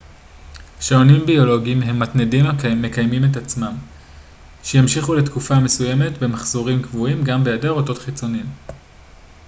שעונים ביולוגיים הם מתנדים המקיימים את עצמם שימשיכו לתקופה מסוימת במחזורים קבועים גם בהיעדר אותות חיצוניים